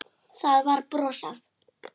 Það var brosað.